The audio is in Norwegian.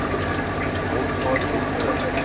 Oddvar Winther